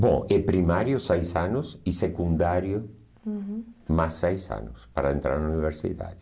Bom, é primário seis anos e secundário, uhum, mais seis anos para entrar na universidade.